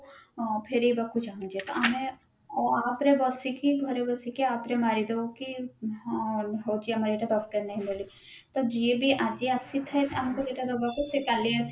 ଫେରେଇବାକୁ ଚାହୁଁଛେ ତ ଆମେ app ରେ ବସିକି ଘରେ ବସିକି app ରେ ମାରି ଦବୁ କି ହଁ ହଉଛି ଆମେ ଇଏଟା ଦରକାର ନାହିଁ ବୋଲିକି ତ ଯିଏ ବି ଆଜି ଆସିଥାଏ ଏଟା ଆମକୁ ଦେବାକୁ ସେ କାଲି ଆସି